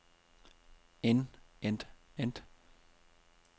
end end end